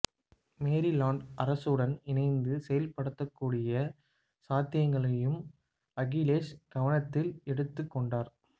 Maryland அரசுடன் இணைந்து செயல்படக்கூடிய சாத்தியங்களையும் அகிலேஷ் கவனத்தில் எடுத்துக் கொண்டார்